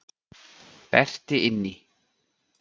Berti inn í.